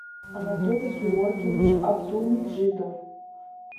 анатолий георгиевич абдулмеджидов